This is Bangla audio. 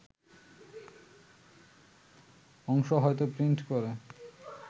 অংশ হয়তো প্রিন্ট করে